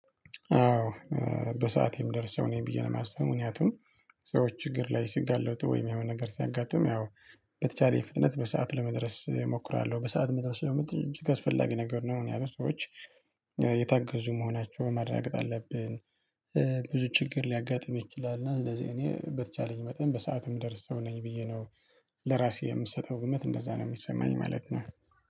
አዎ በሰአቴ ምደርሰው ነው ብዬ ማስበው ምክንያቱን ሰዎች ችግር ላይ ሲጋለቱ ወይም የሆነ ነገር ሲያጋጥም ያው በተቻለ ፍጥነት በሰአት ለመድረስ እሞክራለ። በሰአት መድረስ ደግሞ ትል አስፈላጊ ነገር ነው ምክንያቱም ሰዎች የታገዙ መሆናቸውን ማረጋገጥ አለብን። ብዙ ችግር ሊያጋጥም ይችላል። እና እንደዚህ እኔ በተቻለኝ መጠን በሰአትም ምደርሰው ነኝ ብዬ ነው። ለራሴ የምሰጠው ግምት እንደዛ ነው የሚሰማኝ ማለት ነው።